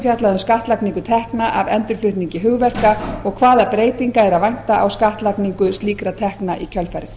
um skattlagningu tekna af endurflutningi hugverka og hvaða breytinga er að vænta á skattlagningu slíkra tekna í kjölfarið